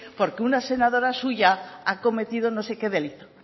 porque una senadora suya ha cometido no sé qué delito